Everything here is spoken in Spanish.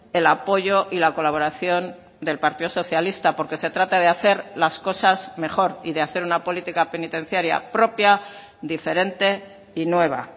el apoyo y la colaboración del partido socialista porque se trata de hacer las cosas mejor y de hacer una política penitenciaria propia diferente y nueva